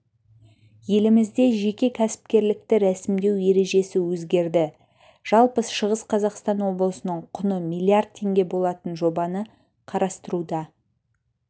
елімізде жеке кәсіпкерлікті рәсімдеу ережесі өзгерді жалпы шығыс қазақстан облысының құны миллиард теңге болатын жобаны қарастыруда